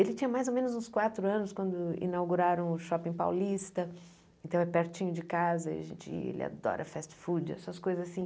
Ele tinha mais ou menos uns quatro anos quando inauguraram o Shopping Paulista, então é pertinho de casa, ele adora fast food, essas coisas assim.